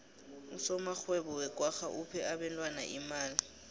usomarhwebo wekwagga uphe abentwana imali